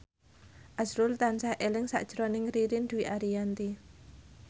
azrul tansah eling sakjroning Ririn Dwi Ariyanti